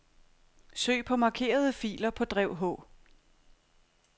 Søg på markerede filer på drev H.